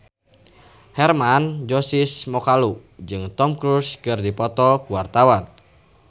Hermann Josis Mokalu jeung Tom Cruise keur dipoto ku wartawan